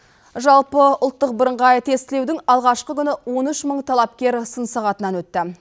жалпы ұлттық бірыңғай тестілеудің алғашқы күні он үш мың талапкер сын сығатынан өтті